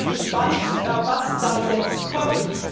Ich bin gespannt, was da jetzt kommt.